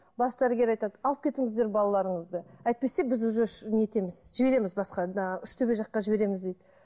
бас дәрігер айтады алып кетіңіздер балаларыңызды әйтпесе біз уже не етеміз жібереміз басқа мына үштөбе жаққа жібереміз дейді